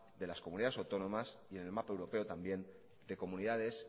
de las comunidades autónomas y en el mapa europeo también de comunidades